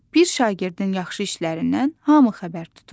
Bir şagirdin yaxşı işlərindən hamı xəbər tutur.